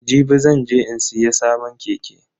Jibi zan je in siya sabon keke.